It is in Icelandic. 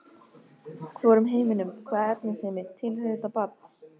Hvorum heiminum- hvaða efnisheimi- tilheyrir þetta barn?